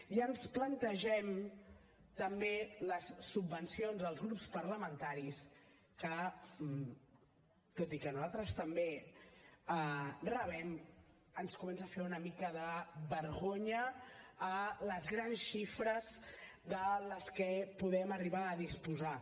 i ens plantegem també les subvencions als grups parlamentaris que tot i que nosaltres també rebem ens comença a fer una mica de vergonya les grans xifres de les quals podem arribar a disposar